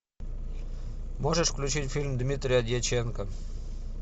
можешь включить фильм дмитрия дьяченко